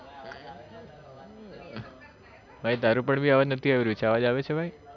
ભાઈ તારું પણ બી અવાજ નથી આવી રહ્યું અવાજ આવે છે ભાઈ